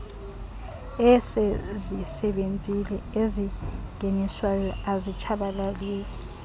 esezisebenzile ezingeniswayo azitshabalalisi